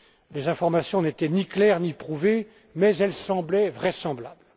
Les informations n'étaient ni claires ni prouvées, mais elles semblaient vraisemblables.